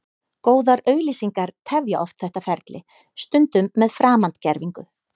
Góðar auglýsingar tefja oft þetta ferli, stundum með framandgervingu.